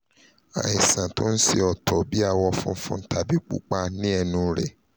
àìsàn tó ń ṣe ọ́ tó bí awọ funfun tàbí pupa ní inú ẹnu rẹ